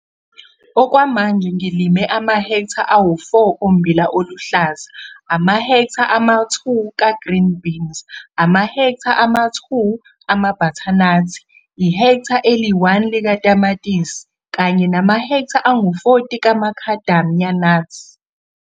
Okwamanje ngilime amahektha awu-4 ombila oluhlaza, amahektha ama-2 ka-green beans, amahektha ama-2 amabhathanathi, ihektha eli-1 likatamatisi kanye namahektha angu-40 kaMacadamia nuts.